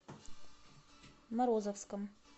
морозовском